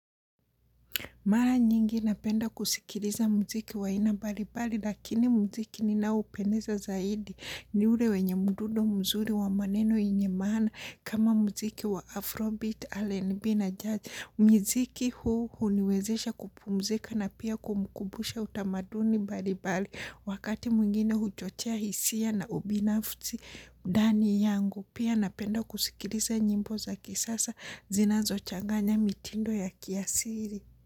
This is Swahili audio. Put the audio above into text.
Mara nyingi napenda kusikiliza muziki wa aina mbalimbali lakini muziki ninaopendezwa zaidi ni ule wenye mdundo mzuri wa maneno yenye maana kama muziki wa Afrobeat, RNB na Judge. Muziki huu huniwezesha kupumzika na pia kumkumbusha utamaduni mbalimbali wakati mwingine huchochea hisia na ubinafsi ndani yangu. Pia napenda kusikiliza nyimbo za kisasa zinazochanganya mitindo ya kiasili.